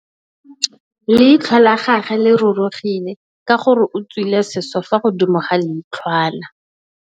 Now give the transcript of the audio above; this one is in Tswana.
Leitlhô la gagwe le rurugile ka gore o tswile sisô fa godimo ga leitlhwana.